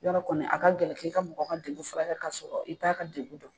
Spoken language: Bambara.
Yɔrɔ kɔni a ka gɛlɛn k'i ka mɔgɔ ka degun furakɛ ka sɔrɔ i t'a ka degun dɔn